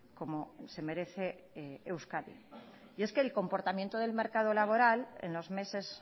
como se merece euskadi y es que el comportamiento del mercado laboral en los meses